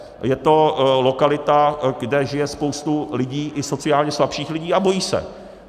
Je to lokalita, kde žije spousta lidí, i sociálně slabších lidí, a bojí se.